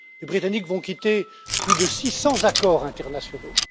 Les Britanniques vont quitter plus de 600 accords internationaux.